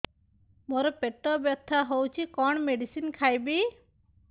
ମୋର ପେଟ ବ୍ୟଥା ହଉଚି କଣ ମେଡିସିନ ଖାଇବି